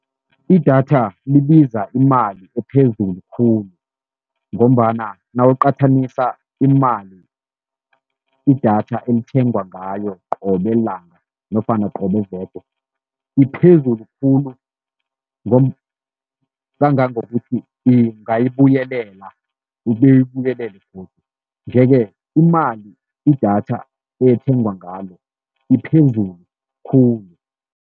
Idatha libiza imali ephezulu khulu, ngombana nawuqathanisa imali idatha elithengwa ngayo qobe langa nofana qobe veke, iphezulu khulu kangangokuthi ungayibuyelela ube uyibuyelele godu. Nje-ke imali idatha ethengwa ngalo iphezulu khulu.